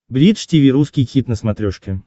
бридж тиви русский хит на смотрешке